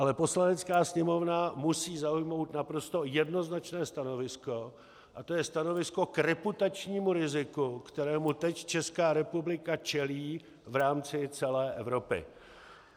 Ale Poslanecká sněmovna musí zaujmout naprosto jednoznačné stanovisko a to je stanovisko k reputačnímu riziku, kterému teď Česká republika čelí v rámci celé Evropy.